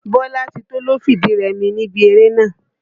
Bọ́látító ló fìdí rẹmi níbi eré nàá.